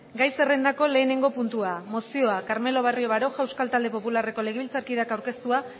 egun on gai zerrendako lehenengo puntua mozioa carmelo barrio baroja euskal talde popularreko legebiltzarkideak aurkeztua